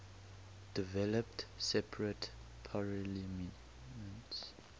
developed separate parliaments